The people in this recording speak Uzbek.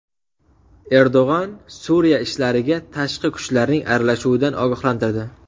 Erdo‘g‘on Suriya ishlariga tashqi kuchlarning aralashuvidan ogohlantirdi.